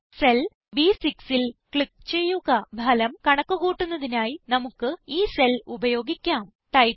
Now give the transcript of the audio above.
ഇപ്പോൾ സെൽ B6ൽ ക്ലിക്ക് ചെയ്യുക ഫലം കണക്ക് കൂട്ടുന്നതിനായി നമുക്ക് ഈ സെൽ ഉപയോഗിക്കാം